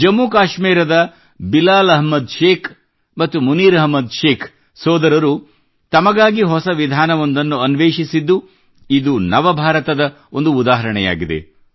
ಜಮ್ಮು ಕಾಶ್ಮೀರದ ಬಿಲಾಲ್ ಅಹ್ಮದ್ ಶೇಖ್ ಮತ್ತು ಮುನೀರ್ ಅಹ್ಮದ್ ಶೇಖ್ ಸೋದರರು ತಮಗಾಗಿ ಹೊಸ ವಿಧಾನವೊಂದನ್ನು ಅನ್ವೇಷಿಸಿದ್ದು ಇದು ನವಭಾರತದ ಒಂದು ಉದಾಹರಣೆಯಾಗಿದೆ